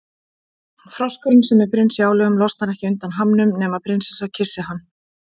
Froskurinn, sem er prins í álögum, losnar ekki undan hamnum nema prinsessa kyssi hann.